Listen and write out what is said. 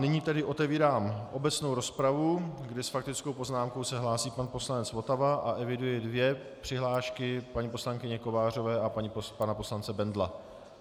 Nyní tedy otevírám obecnou rozpravu, kdy s faktickou poznámkou se hlásí pan poslanec Votava, a eviduji dvě přihlášky - paní poslankyně Kovářové a pana poslance Bendla.